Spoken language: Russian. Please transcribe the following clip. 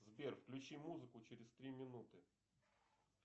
сбер включи музыку через три минуты